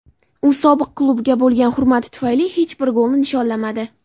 u sobiq klubiga bo‘lgan hurmati tufayli hech bir golni nishonlamadi.